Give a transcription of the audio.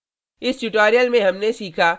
इस tutorial में हमने सीखा